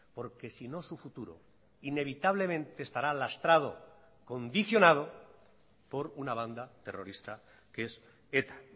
porque si no su futuro inevitablemente estará lastrado y condicionado por una banda terrorista que es eta